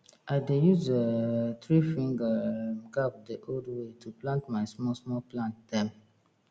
i dey use um threefinger um gap the old way to plant my smallsmall plant dem